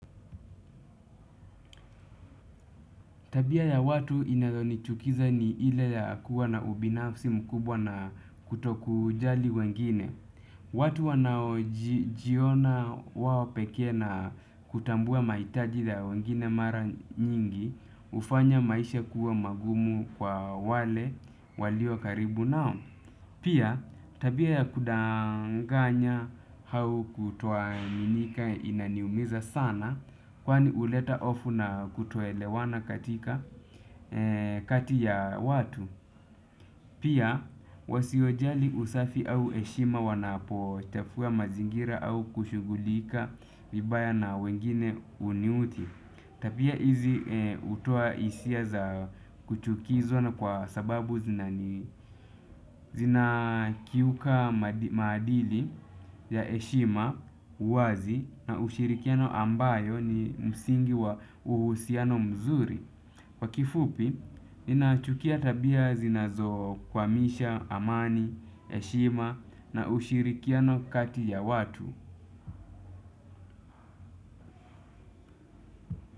Tabia ya watu inayo nichukiza ni ile ya kuwa na ubinafsi mkubwa na kutokujali wengine. Watu wanao jiona wawo pekee na kutambua maitaji ya wengine mara nyingi ufanya maisha kuwa magumu kwa wale walio karibu nao. Pia tabia ya kudanganya hau kutoaminika inaniumiza sana kwani uleta ofu na kutoelewana katika kati ya watu. Pia wasiojali usafi au eshima wanapo chafuwa mazingira au kushugulika vibaya na wengine uniuthi. Tabia izi utoa isia za kuchukizo na kwa sababu zinani zinakiuka maadili ya eshima, uwazi na ushirikiano ambayo ni msingi wa uhusiano mzuri kwa kifupi, ninachukia tabia zinazo kwamisha, amani, eshima na ushirikiano kati ya watu.